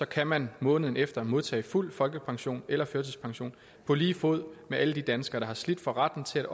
kan man måneden efter modtage fuld folkepension eller førtidspension på lige fod med alle de danskere der har slidt for retten til